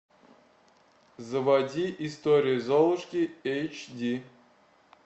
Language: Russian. заводи история золушки эйч ди